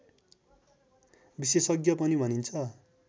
विशेषज्ञ पनि भनिन्छ